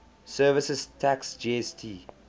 services tax gst